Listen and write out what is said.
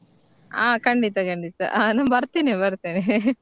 ಆ ಖಂಡಿತ ಖಂಡಿತ ಆ ನಾ ಬರ್ತಿನಿ ಬರ್ತಿನಿ .